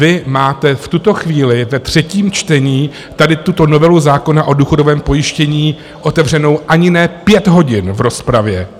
Vy máte v tuto chvíli ve třetím čtení tady tuto novelu zákona o důchodovém pojištění otevřenu ani ne pět hodin v rozpravě.